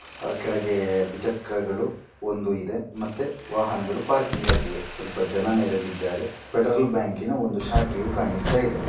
ಕೆಳಗಡೆ ದ್ವಿಚಕ್ರಗಳು ಒಂದು ಇದೆ ಮತ್ತೆ ವಾಹನಗಳು ಪಾರ್ಕಿಂಗ್ ಆಗಿವೆ ಸ್ವಲ್ಪ ಜನ ನೆರೆದಿದ್ದಾರೆ ಪೆಟ್ರೋಲ್ ಬ್ಯಾಂಕಿನ ಒಂದು ಶಾಖೆಯು ಕಾಣಿಸ್ತಾ ಇದೆ.